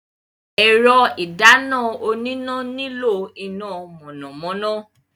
Ẹ̀rọ ìdáná oníná nílò iná mọ̀nàmọ́ná.